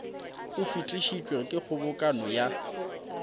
o fetišitšwego ke kgobokano ya